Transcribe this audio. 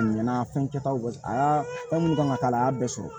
A ɲɛna fɛn kɛtaw aa fɛn munnu kan ka k'a la a y'a bɛɛ sɔrɔ